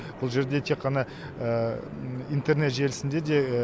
бұл жерде тек қана интернет желісінде де